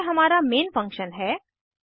अब यह हमारा मेन फंक्शन है